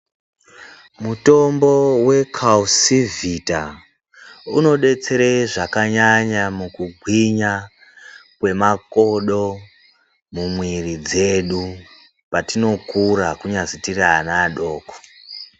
Mutombo we Calcivita unodetsere zvakanyanya mukugwinya kwemakodo mumwiri dzedu petinokura kunyazi tiri ana adoko